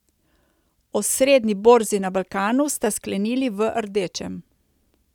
Osrednji borzi na Balkanu sta sklenili v rdečem.